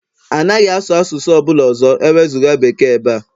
Anaghị asụ asụsụ ọ bụla ọzọ ewezuga Bekee ebe a!